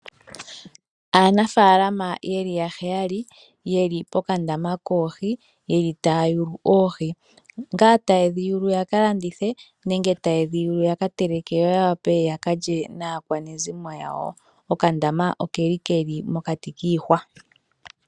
Aanafaalama ye li yaheyali ye li pokandaama koohi taya yulu oohi. Nda taye dhi yulu ya ka landithe, nenge taye dhi yulu ya ka teleke yo ya wape ya ka lye naakwanezimo yawo. Okandama oke li mokati kiihwa.